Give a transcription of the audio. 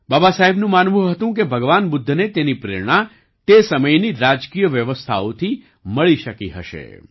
બાબાસાહેબનું માનવું હતું કે ભગવાન બુદ્ધને તેની પ્રેરણા તે સમયની રાજકિય વ્યવસ્થાઓથી મળી શકી હશે